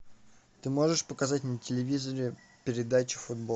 ты можешь показать на телевизоре передачу футбол